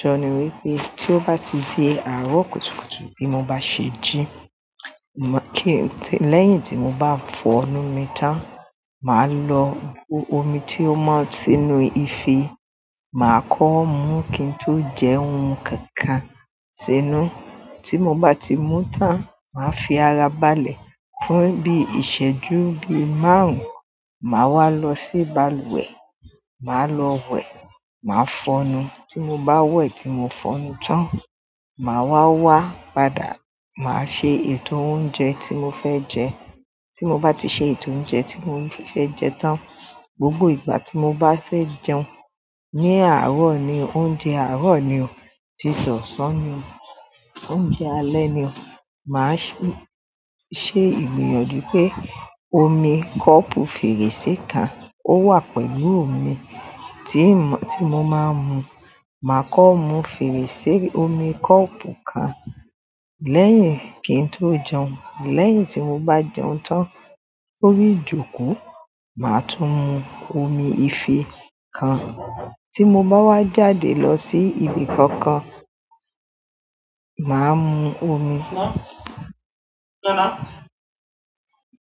Sọ ni wípé tí ó bá ti di àárọ̀ kùtùkùtù bí mo bá ṣe jí, kí-- lẹ́yìn tí mo bá fọnu mi tán, màá lọ bu omi tí ó mọ̀ sínú ìfẹ́, màá kọ́ mú, kí n tó jẹ oun kankan sínú. Tí mo bá ti mú tán, màá fi ara ba lẹ̀ fún bí ìsẹ́jú bí márùn-ún, màá wá lọ sí balùwẹ̀, màá lọ wẹ̀, màá fọnu. Tí mo bá wẹ̀, tí mo fọnu tán, màá wá wá padà, màá ṣe ètò oúnjẹ tí mo fẹ́ jẹ tí mo bá ti ṣe ètò oúnjẹ tí mo fẹ́ jẹ tán, gbogbo ìgbà tí mo bá fẹ́ jẹun ní àárọ̀ ni, oúnjẹ àárọ̀ ni o, tít'ọ̀san ni o, oúnjẹ alẹ́ ni o, màá ṣe ìgbìyànjú pé omi kọ́ọ̀pù fèrèsé kan ó wà pẹ̀lú mi, ti n mo tí mo máa ń mu. Màá kọ mú fèrèsé omi kọ́ọ̀pù kan, lẹ́yìn kí n tó jẹun. Lẹ́yìn tí mo bá jẹun tán lórí ìjókòó, màá tún mu omi ìfẹ́ kan. Ti mo ba wa jáde lo si ibi kankan, maa mu omi.